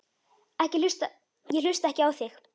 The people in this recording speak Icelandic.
Ég hlusta ekki á þig.